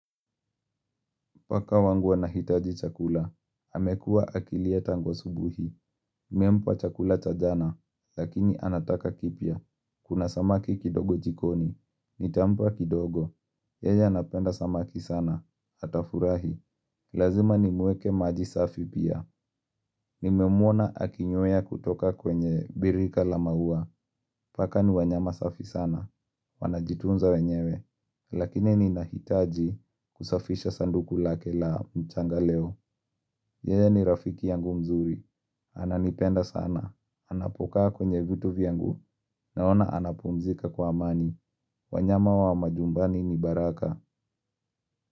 Paka wangu wanahitaji chakula, amekua akilia tangu asubuhi, nimempa chakula cha jana, lakini anataka kipya, kuna samaki kidogo jikoni, nitampa kidogo, yeja anapenda samaki sana, atafurahi, lazima nimweke maji safi pia, nimemwona akinyoya kutoka kwenye birika la maua, paka ni wanyama safi sana, wanajitunza wenyewe, Lakini ninahitaji kusafisha sanduku lake la mchanga leo yeye ni rafiki yangu mzuri ananipenda sana anapokaa kwenye vitu vyangu Naona anapumzika kwa amani wanyama wa manyumbani ni baraka.